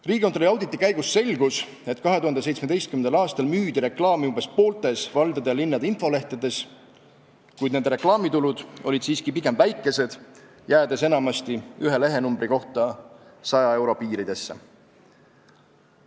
Riigikontrolli auditi käigus selgus, et 2017. aastal müüdi reklaamipinda umbes pooltes valdade ja linnade infolehtedes, kuid nende reklaamitulud olid siiski pigem väikesed, jäädes enamasti ühe lehenumbri kohta 100 euro piiridesse.